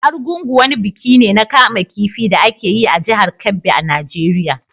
Argungu wani biki ne na kama kifi da ake yi a jihar Kebbi a Najeriya.